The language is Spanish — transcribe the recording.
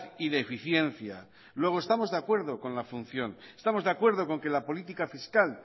y de eficiencia luego estamos de acuerdo con la función estamos de acuerdo con que la política fiscal